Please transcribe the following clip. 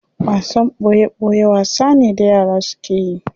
Wasan boye boye wasa ne da yara suke yi.